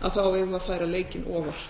að þá eigum við að færa leikinn